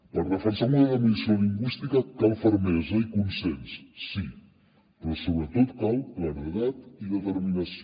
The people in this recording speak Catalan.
per defensar el model d’immersió lingüística cal fermesa i consens sí però sobretot cal claredat i determinació